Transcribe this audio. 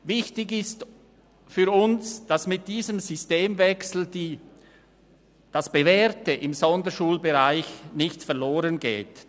Wichtig ist für uns, dass das Bewährte im Sonderschulbereich mit diesem Systemwechsel nicht verloren geht.